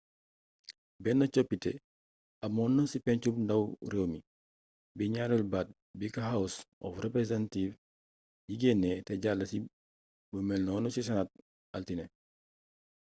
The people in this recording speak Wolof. bénn coppité amoonna ci pégncum ndaw rééwmi bi gnaaréélu baat biko house of representatives yi génné té jall ci bu mélnonu ci senate altiné